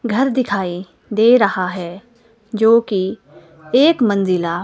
घर दिखाई दे रहा है जो की एक मंजिला--